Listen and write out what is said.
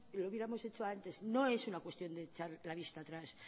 lo hubiéramos hecho antes no es una cuestión de echar la vista atrás